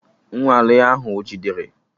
Nnwale ahụ ọ jidere?